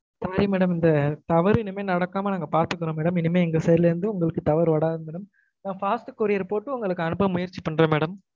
sorry madam இந்த தவறு இனிமே நடக்காம நாங்க பார்த்துக்குறொம் madam இனிமே எங்க side ல இருந்து உங்களுக்கு தவறு வராது madam fast courier போட்டு உங்களுக்கு அனுப்ப முயற்சி பண்றோம் madam